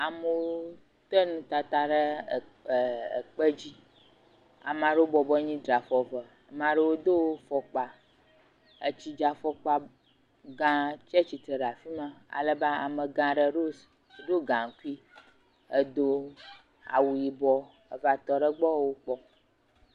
Amewo tɛ nutata ɖe ɛɛɛ ekpe dzi. Ama ɖewo bɔbɔ nyi draa fɔ eve. Ama ɖewo do fɔkpa etsidzafɔkpagãa tsa tsitre ɖa fi ma. Alebe amegã ɖe ɖo gaŋkui edo awu yibɔ heva tɔ ɖe wogbɔ wokpɔm.